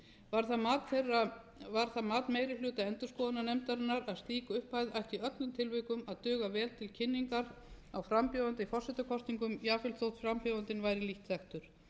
fimm milljónir króna var það mat meiri hluta endurskoðunarnefndarinnar að slík upphæð ætti í öllumtilvikum að duga vel til kynningar á frambjóðanda í forsetakosningum jafnvel þótt frambjóðandinn væri lítt þekktur